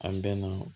An bɛ na